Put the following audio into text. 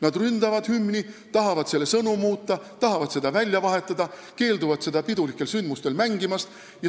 Nad ründavad hümni: tahavad selle sõnu muuta, tahavad seda välja vahetada, keelduvad seda pidulikel sündmustel mängimast.